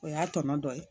O y'a tɔnɔ dɔ ye